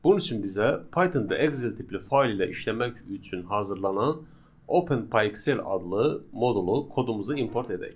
Bunun üçün bizə Python-da Excel tipli fayl ilə işləmək üçün hazırlanan OpenPyXL adlı modulu kodumuzu import edək.